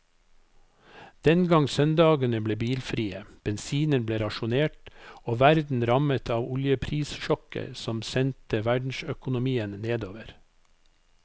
Den gang søndagene ble bilfrie, bensinen ble rasjonert og verden rammet av oljeprissjokket som sendte verdensøkonomien nedover.